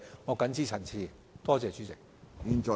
我謹此陳辭，多謝主席。